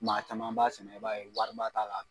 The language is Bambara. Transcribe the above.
Maa caman b'a sɛnɛ, i b'a ye wariba t'a la